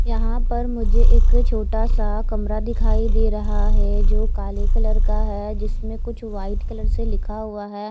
यहाँ पर मुझे एक छोटा सा कमरा दिखाई दे रहा है जो काले कलर का है जिसमे कुछ व्हाइट कलर से लिखा हुआ है ।